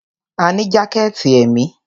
A ní jákẹ̀tì èmi.